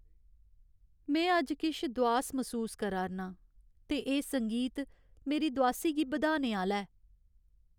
में अज्ज किश दोआस मसूस करा 'रना आं ते एह् संगीत मेरी दोआसी गी बधाने आह्‌ला ऐ।